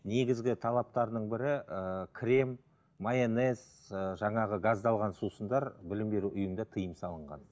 негізгі талаптарының бірі ііі крем майонез ііі жаңағы газдалған сусындар білім беру ұйымда тиым салынған